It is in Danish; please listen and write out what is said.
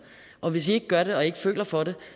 og hvis i ikke gør det og ikke føler for det